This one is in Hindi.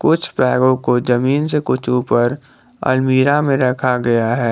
कुछ बैगों को जमीन से कुछ ऊपर अलमीरा में रखा गया है।